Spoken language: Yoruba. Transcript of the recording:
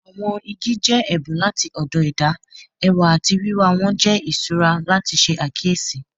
Awọn igi jẹ ẹbun lati ọdọ ẹda, ẹwa ati wiwa wọn jẹ iṣura lati ṣe akiyesi.